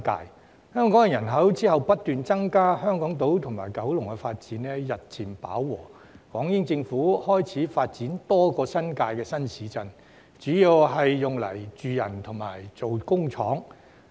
其後，香港人口不斷增加，香港島及九龍的發展日漸飽和，港英政府開始發展多個新界新市鎮，主要是用來興建住宅及工廠。